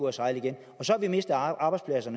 at sejle igen og så har vi mistet arbejdspladser